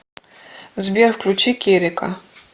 сбер включи керека